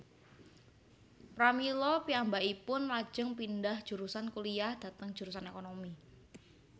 Pramila piyambakipun lajeng pindhah jurusan kuliyah dhateng jurusan ékonomi